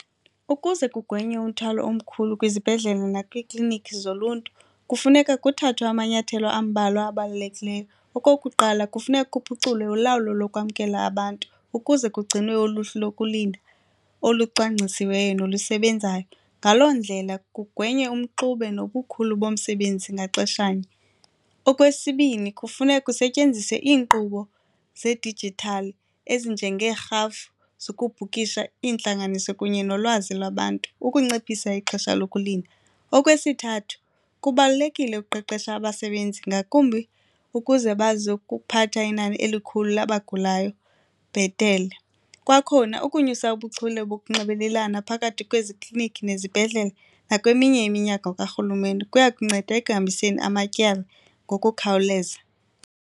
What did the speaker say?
Ukuze kugwenywe umthwalo omkhulu kwizibhedlele nakwiikliniki zoluntu kufuneka kuthathwe amanyathelo ambalwa abalulekileyo. Okokuqala, kufuneka kuphuculwe ulawulo lokwamkelwa abantu ukuze kugcinwe uluhlu lokulinda olucwangcisiweyo nolusebenzayo. Ngaloo ndlela kugwenywe umxube nobukhulu bomsebenzi ngaxeshanye. Okwesibini, kufuneka kusetyenziswe inkqubo zedijithali ezinjengeerhafu zokubhukisha iintlanganiso kunye nolwazi lwabantu ukunciphisa ixesha lokulinda. Okwesithathu, kubalulekile ukuqeqesha abasebenzi ngakumbi ukuze bazi ukuphatha inani elikhulu labagulayo bhetele, kwakhona ukunyusa ubuchule bokunxibelelana phakathi kwezi klinikhi nezibhedlela nakweminye iminyango karhulumente kuya kunceda ekuhambiseni amatyala ngokukhawuleza.